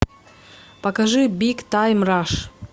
покажи биг тайм раш